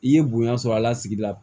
I ye bonya sɔrɔ a la sigi la